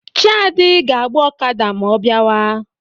Chiadi ga-agba Okada ma ọ biawa.